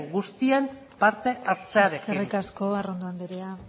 guztien parte hartzearekin eskerrik asko arrondo andrea